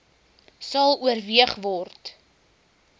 sal oorweeg word